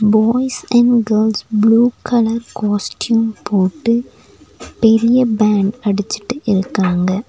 Boys and girls blue colour costume போட்டு பெரிய band அடிச்சுட்டு இருக்காங்க.